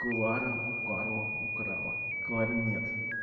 клара у карла украла кларнет